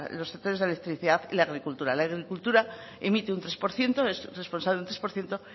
los sectores de la electricidad y la agricultura la agricultura emite un tres por ciento es responsable de un tres por ciento